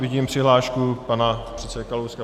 Vidím přihlášku pana předsedy Kalouska.